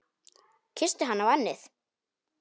Kyssti hana á ennið.